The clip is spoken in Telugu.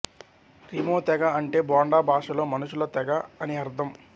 రిమో తెగ అంటే బొండా భాషలో మనుషుల తెగ అని అర్ధం